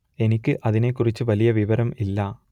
എനിക്ക് അതിനെ കുറിച്ച് വലിയ വിവരം ഇല്ല